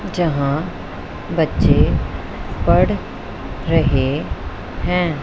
जहां बच्चे पढ़ रहे हैं।